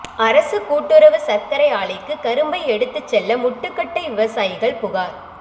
அரசு கூட்டுறவு சா்க்கரை ஆலைக்கு கரும்பை எடுத்துச் செல்ல முட்டுக்கட்டைவிவசாயிகள் புகாா்